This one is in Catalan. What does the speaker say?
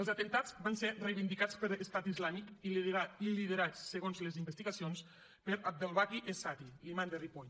els atemptats van ser reivindicats per estat islàmic i liderats segons les investigacions per abdelbaki es satty l’imam de ripoll